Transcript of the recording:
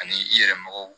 Ani i yɛrɛ mɔgɔw